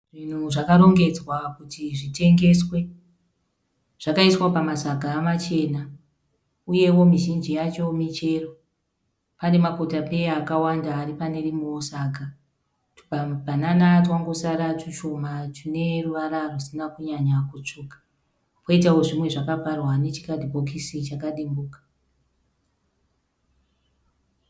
Zvinhu zvakarongedzwa kuti zvitengeswe. Zvakaiswa pamasaga machena uyewo mizhinji yacho michero. Pane makotapeya akawanda ari pane rimwewo saga. Tumabhanana twangosara tushoma tune ruvara rusina kunyanya kutsvuka kwoitawo zvimwe zvakavharwa nechikadhibhokisi chakadimbuka.